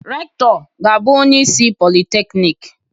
Rektọ ga-abụ onye isi Polịteknik.